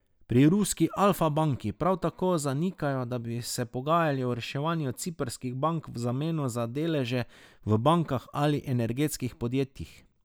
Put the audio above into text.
Pri ruski Alfa banki prav tako zanikajo, da bi se pogajali o reševanju ciprskih bank v zameno za deleže v bankah ali energetskih podjetjih.